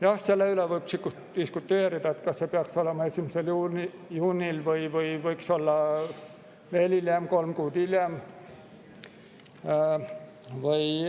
Jah, selle üle võib diskuteerida, kas see peaks olema 1. juunil või võiks olla veel hiljem, kolm kuud hiljem.